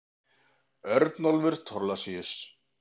Örnólfur Thorlacius.